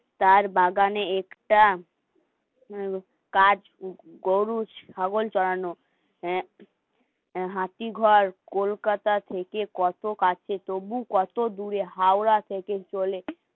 তার বাগানে একটা কাজ গরু ছাগল চড়ানো হ্যাঁ হাতি ঘর, কোলকাতা থেকে কত কাছে তবু কত দূরে, হাওড়া থেকে চলে